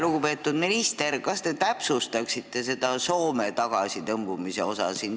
Lugupeetud minister, kas te täpsustaksite seda Soome tagasitõmbumise osa?